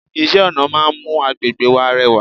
Iṣẹ́-ọ̀nà máa ń mú àgbègbè wa rẹwà.